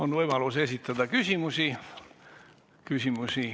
On võimalus esitada küsimusi.